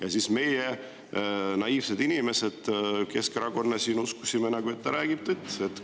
Aga meie, naiivsed inimesed Keskerakonnast, uskusime, et ta räägib tõtt.